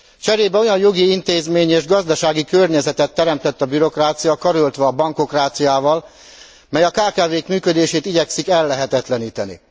Cserébe olyan jogi intézményi és gazdasági környezetet teremtett a bürokrácia, karöltve a bankokráciával, mely a kkv k működését igyekszik ellehetetleníteni.